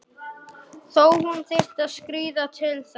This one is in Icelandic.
Þó hún þyrfti að skríða til þess.